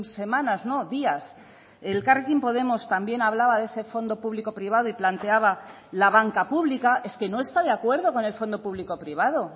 semanas no días elkarrekin podemos también hablaba de ese fondo público privado y planteaba la banca pública es que no está de acuerdo con el fondo público privado